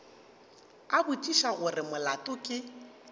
a botšiša gore molato ke